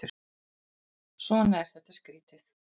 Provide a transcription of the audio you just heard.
Svona er þetta skrýtið.